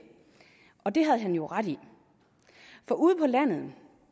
og det havde han jo ret i for ude på landet